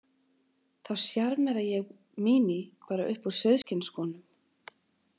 Þá sjarmera ég Mími bara upp úr sauðskinnsskónum.